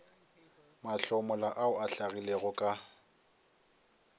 mahlomola ao a hlagilego ka